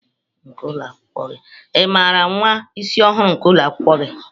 Ị maara nwa isi ọhụrụ nke ụlọ akwụkwọ gi?